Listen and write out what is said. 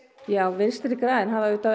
vinstri græn hafa auðvitað